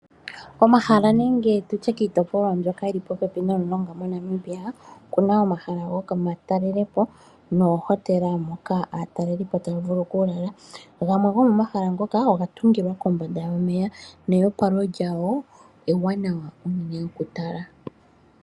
Omahala nenge tu tye kiitopolwa mbyoka yi li popepi nomulonga moNamibia, oku na omahala gomatalelopo noohotela moka aatalelipo taya vulu okulala. Gamwe gomomahala ngoka oga tungila kombanda yomeya neopalo lyawo ewanawa unene okutala.